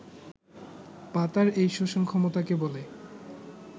পাতার এই শোষণ ক্ষমতাকে বলে